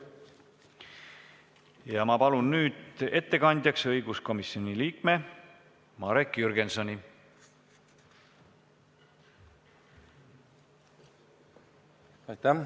Palun ettekandjaks õiguskomisjoni liikme Marek Jürgensoni.